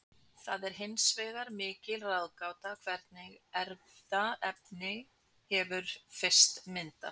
það er hins vegar mikil ráðgáta hvernig erfðaefni hefur fyrst myndast